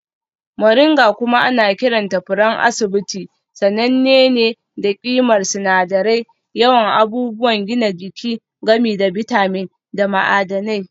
Moringa kuma ana kiranta furen asibiti sananne ne da ƙimar sinadirai, yawan abubuwan gina jiki, gami da bitamin da ma'adanai.